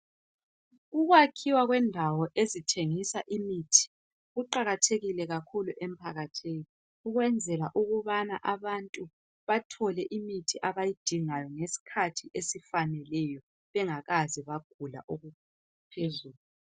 Ukwakhiwa kwendawo ezithengisa imithi kuqathekile kakhulu emphakathini. Ukwenzela ukubana abantu bathole imithi abayidingayo ngesikhathi esifaneleyo bangakazi bagula okuphezulu.